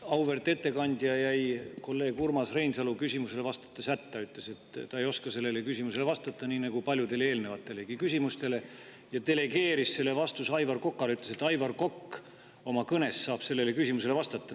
Auväärt ettekandja jäi kolleeg Urmas Reinsalu küsimusele vastates hätta, ütles, et ta ei oska sellele küsimusele vastata – nii nagu paljudele eelnevatelegi küsimustele –, ja delegeeris vastamise Aivar Kokale, ütles, et Aivar Kokk oma kõnes saab sellele küsimusele vastata.